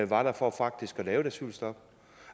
var der for faktisk at lave et asylstop